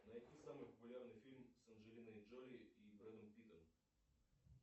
найти самый популярный фильм с анджелиной джоли и брэдом питтом